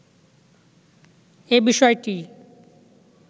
এ বিষয়টিই